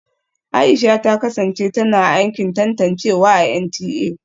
Aisha ta kasance tana aikin tantancewa a NTA